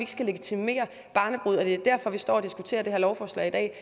skal legitimere barnebrude og det er derfor vi står og diskuterer det her lovforslag i dag